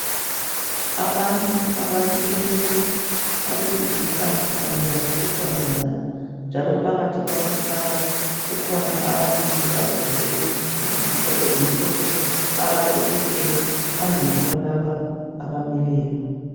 Abantu abamileyo abesilisa kanye labesifazana njalo phakathi kwabantu laba kukhona ababili abagqoke izikipa ezimhlophe abaquthileyo phambili kwalaba abamileyo.